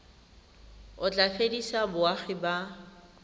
o tla fedisa boagi ba